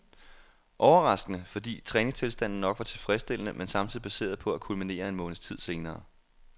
Overraskende, fordi træningstilstanden nok var tilfredsstillende, men samtidig baseret på at kulminere en måneds tid senere.